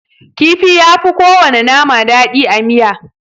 Kifi yafi kowana nama daɗi a miya.